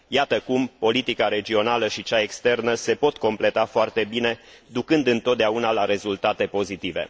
Iată cum, politica regională și cea externă se pot completa foarte bine, ducând întotdeauna la rezultate pozitive.